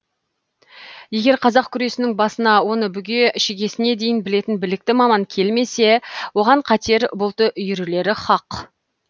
егер қазақ күресінің басына оны бүге шігесіне дейін білетін білікті маман келмесе оған қатер бұлты үйірілері хақ